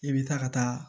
I bɛ taa ka taa